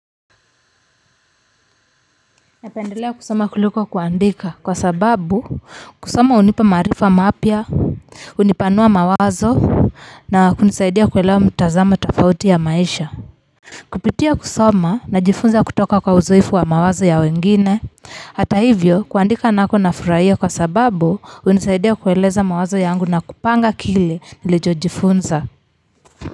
Napendelea kusoma kuliko kuandika kwa sababu kusoma hunipa maarifa mapya hunipanua mawazo na kunisaidia kuelewa mtazamo tofauti ya maisha kupitia kusoma najifunza kutoka kwa uzoefu wa mawazo ya wengine hata hivyo kuandika nako nafurahia kwa sababu hunisaidia kueleza mawazo yangu na kupanga kile nilicho jifunza.